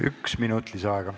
Üks minut lisaaega.